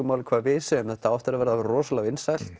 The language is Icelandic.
máli hvað við segjum þetta á eftir að verða rosalega vinsælt